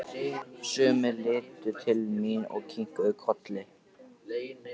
Sumir litu til mín og kinkuðu kolli.